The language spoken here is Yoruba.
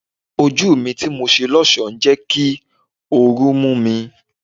Ojú tí mo ṣe lọ́sọ̀ọ́ ń jẹ́ kí ooru mú mi.